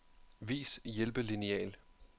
Vis hjælpelineal.